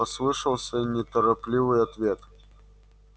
послышался неторопливый ответ